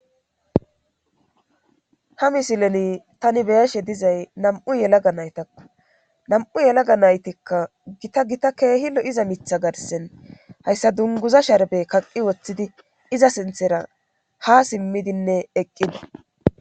Ha misileni tani beyashe dizay nam7u yelaga naytakko nam7u yelaga naytikka gita gita keehilo iza mitha garsen hayssa dunguza sharbe kaqqi woththidi iza sinthera ha simmidinne eqqida.